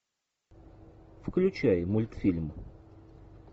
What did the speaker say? включай мультфильм